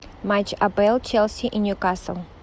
матч апл челси и ньюкасл